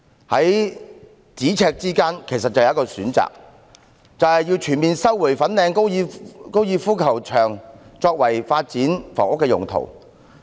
在咫尺之間其實已有一項選擇，就是全面收回粉嶺高爾夫球場作發展房屋用途。